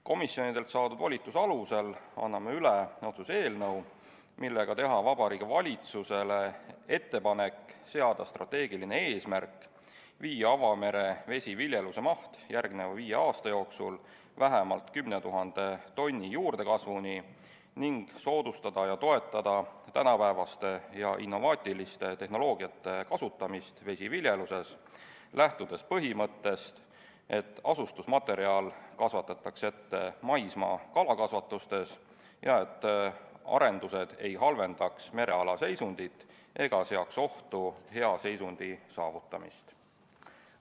Komisjonidelt saadud volituse alusel anname üle otsuse eelnõu, millega teha Vabariigi Valitsusele ettepanek seada strateegiline eesmärk viia avamere vesiviljeluse maht järgmise viie aasta jooksul vähemalt 10 000 tonni juurdekasvuni ning soodustada ja toetada tänapäevase ja innovaatilise tehnoloogia kasutamist vesiviljeluses, lähtudes põhimõttest, et asustusmaterjal kasvatatakse ette maismaa kalakasvatustes ja et arendused ei halvendaks mereala seisundit ega seoks ohtu hea seisundi saavutamist.